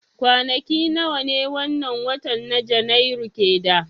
Kwanaki nawa ne wannan watan na janairu ke da